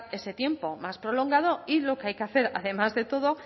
ese tiempo más prolongado y lo que hay que hacer además de todo